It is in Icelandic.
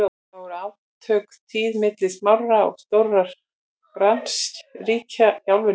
þá voru átök tíð milli smárra og stórra grannríkja í álfunni